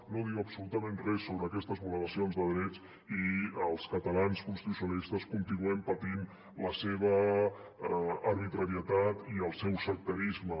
no diu absolutament res sobre aquestes vulneracions de drets i els catalans constitucionalistes continuem patint la seva arbitrarietat i el seu sectarisme